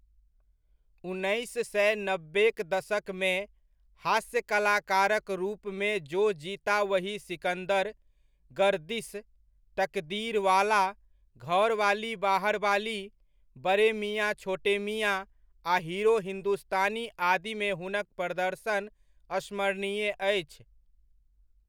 उन्नैस सए नबेक दशकमे, हास्य कलाकारक रूपमे जो जीता वही सिकन्दर, गर्दिश, तकदीरवाला, घरवाली बाहरवाली, बड़े मियाँ छोटे मियाँ आ हीरो हिन्दुस्तानी आदिमे हुनक प्रदर्शन स्मरणीय अछि।